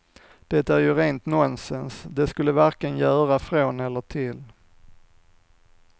Det är ju rent nonsens, det skulle varken göra från eller till.